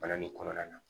Balani kɔnɔna na